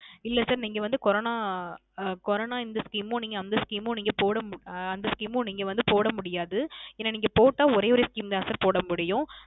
இல்ல Sir நீங்க வந்து Corona அஹ் Corona இந்த Scheme மும் அந்த Scheme மும் போட ஆஹ் அந்த Scheme மும் நீங்க வந்து போடா முடியாது ஏன்ன நீங்க போட்டா ஒரே ஒரு Scheme தான் போடமுடியும்